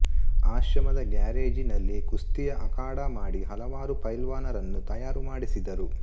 ಆಶ್ರಮದ ಗ್ಯಾರೇಜಿನಲ್ಲಿ ಕುಸ್ತಿಯ ಅಖಾಡಾ ಮಾಡಿ ಹಲವಾರು ಪೈಲವಾನರನ್ನು ತಯಾರು ಮಾಡಿಸಿದರು